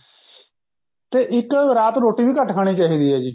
ਤੇ ਇੱਕ ਰਾਤ ਰੋਟੀ ਵੀ ਘੱਟ ਖਾਣੀ ਚਾਹੀਦੀ ਹੈ ਜੀ